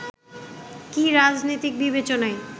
কি রাজনৈতিক বিবেচনাই